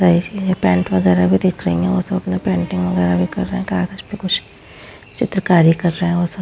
guys ये paint वगेरा भी दिख रही है और सब अपने पेंटिंग वगेरा भी कर रहे है कागज़ पे कुछ चित्रकारी कर रहे है वो सब --